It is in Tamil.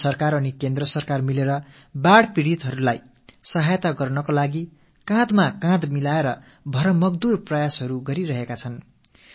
மாநில அரசுகளும் மத்திய அரசும் இணைந்து வெள்ளத்தால் பாதிக்கப்பட்டவர்களுக்கு உதவி செய்யும் வகையில் தோளோடு தோள் இணைந்து முழுமையான முயற்சியில் ஈடுபட்டுக் கொண்டிருக்கின்றன